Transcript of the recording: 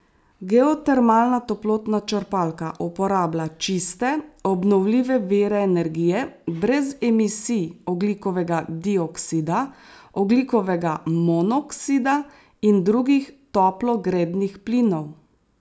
Geotermalna toplotna črpalka uporablja čiste, obnovljive vire energije brez emisij ogljikovega dioksida, ogljikovega monoksida in drugih toplogrednih plinov.